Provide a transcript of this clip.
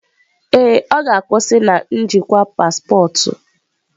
Ee, ọ ga-akwụsị na njikwa paspọtụ.